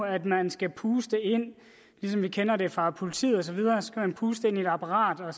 at man skal puste ligesom vi kender det fra politiet i et apparat og